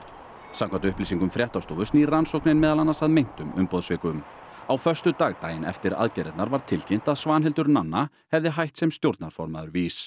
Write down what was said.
samkvæmt upplýsingum fréttastofu snýr rannsóknin meðal annars að meintum umboðssvikum á föstudag daginn eftir aðgerðirnar var tilkynnt að Svanhildur Nanna hefði hætt sem stjórnarformaður VÍS